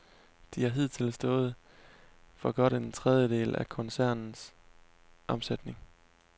De har hidtil stået for godt en tredjedel af koncernens omsætning.